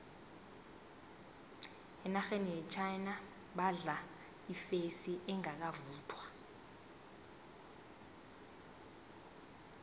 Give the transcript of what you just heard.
enarheni yechina badla ifesi engakavuthwa